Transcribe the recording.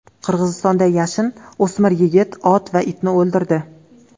Qirg‘izistonda yashin o‘smir yigit, ot va itni o‘ldirdi.